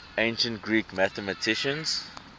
ancient greek mathematicians